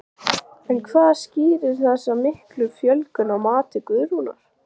En hvað skýrir þessa miklu fjölgun að mati Guðrúnar?